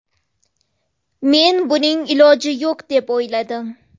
Men buning iloji yo‘q deb o‘yladim.